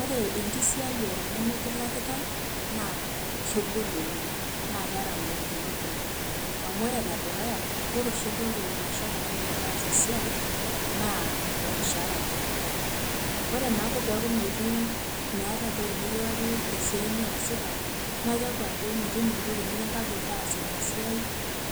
ore enkisiyiare nemikilakitae naa kegol oleng naa keeta ngolikinot kumok. amu ore enedukuya, ore oshi entoki naisho oltung'ani metaasa esiai naa olmushaara likilaki, ore naake peeku metii meetae entoki nikilaki te siai niyasita naa keeku ajo, metum entoki nikintagol taasa ina siai,